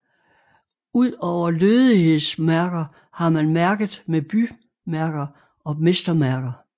Udover lødighedsmærker har man mærket med bymærker og mestermærker